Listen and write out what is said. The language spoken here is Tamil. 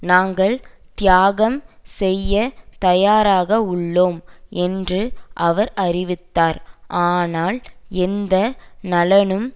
நாங்கள் தியாகம் செய்ய தயாராக உள்ளோம் என்று அவர் அறிவித்தார் ஆனால் எந்த நலனும்